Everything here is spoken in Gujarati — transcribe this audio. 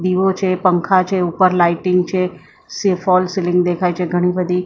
દીવો છે પંખા છે ઉપર લાઇટિંગ છે સે ફોલ સીલીંગ દેખાય છે ઘણી બધી --